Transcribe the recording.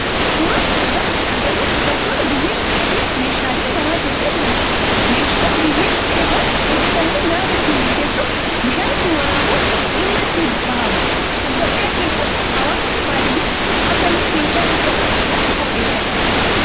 Suuraa kana irratti kana agarru dubartoota biyyee supheetin meeshaalee mana tolchaa jiranidha. Meeshaan biyyee suphee irraa hojjetame nyaata ittin bilcheessuf, bishaan ittin waraabuf dhimma itti bahaama. Itiyoophiyaa keessatti hawaasni baadiyaa amallee meeshaa supheetti nyaata qopheffata.